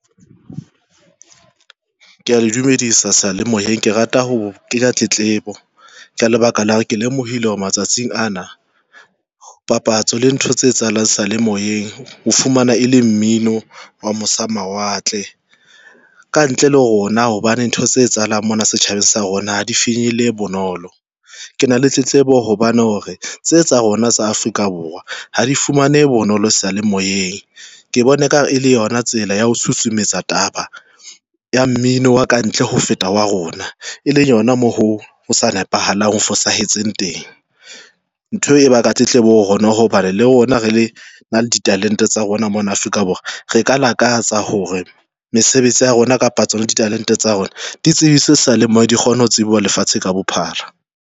Ke ya dumedisa sayalemoyeng ke rata ho kenya tletlebo ka lebaka la hore ke lemohile hore matsatsing ana papatso le ntho tse etsahalang seyalemoyeng ho fumana e le mmino wa mose ho mawatle ka ntle le rona, hobane ntho tse etsahalang mona setjhabeng sa rona ha di finyelle bonolo. Ke na le tletlebo hobane hore tse tsa rona tsa Afrika Borwa ha di fumanehe bonolo seyalemoyeng, ke bone ka hare e le yona tsela ya ho susumetsa taba ya mmino wa kantle ho feta wa rona, e leng hona moo ho ho sa nepahalang ho fosahetseng teng, ntho e ba ka tletlebo ho rona hobane le rona re le na le ditalente tsa rona mona Afrika Borwa, re ka lakatsa hore mesebetsi ya rona kapa tsona ditalente tsa rona. Ditsebiswe seyalemoyeng di kgona ho tsebiswa ho lefatshe ka bophara.